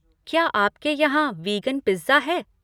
क्या आपके यहाँ वीगन पिज्ज़ा है?